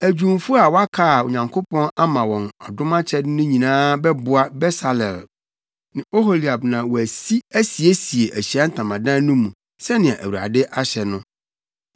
Adwumfo a wɔaka a Onyankopɔn ama wɔn ɔdom akyɛde no nyinaa bɛboa Besaleel ne Oholiab na wɔasi asiesie Ahyiae Ntamadan no mu sɛnea Awurade ahyɛ no.”